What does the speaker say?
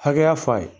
Hakɛya fɔ a ye